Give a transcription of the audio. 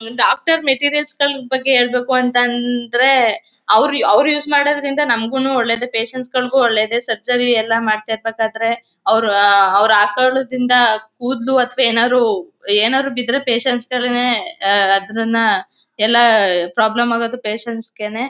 ಹ್ಮ್ doctor materials ಗಳ ಬಗ್ಗೆ ಹೇಳ್ಬೇಕು ಅಂತಂದ್ರೆ ಅವ್ರು ಅವ್ರು ಯೂಸ್ ಮಾಡೋದ್ರಿಂದ ನಮಗುನೂ ಒಳ್ಳೇದೇಪೇಷಂಟ್ ಸ್ ಗಳಿಗೂನೂ ಒಳ್ಳೇದೇ ಸರ್ಜರಿ ಎಲ್ಲ ಮಾಡ್ತಿರ್ಬೇಕಾದ್ರೆ ಅವ್ರು ಆ ಹಾಕೊಳೋದ್ರಿಂದ ಕೂದಲು ಅಥವಾ ಏನಾದ್ರು ಏನಾದ್ರು ಬಿದ್ರೆ ಪೇಷಂಟ್ ಸ್ ಗಳೇನೇ ಅದ್ರನ್ನ ಎಲ್ಲ ಪ್ರಾಬ್ಲಮ್ ಆಗೋದು ಪೇಷಂಟ್ ಸ್ ಗೇನೇ.